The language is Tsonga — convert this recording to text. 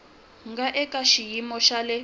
nga eka xiyimo xa le